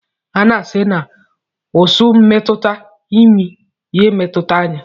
A na-asi na ụsụ metụta imi, ya emetụta anya